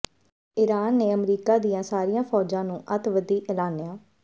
Iran ਨੇ ਅਮਰੀਕਾ ਦੀਆਂ ਸਾਰੀਆਂ ਫੌਜਾਂ ਨੂੰ ਅੱਤਵਾਦੀ ਐਲਾਨਿਆ